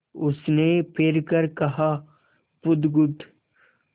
उसने फिर कर कहा बुधगुप्त